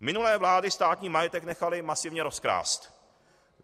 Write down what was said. Minulé vlády státní majetek nechaly masivně rozkrást.